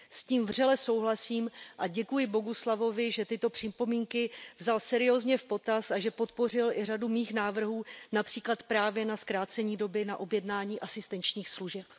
S tím vřele souhlasím a děkuji Bogusławovi, že tyto připomínky vzal seriózně v potaz a že podpořil i řadu mých návrhů, například právě na zkrácení doby na objednání asistenčních služeb.